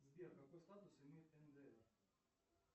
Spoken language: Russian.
сбер какой статус имеет ндр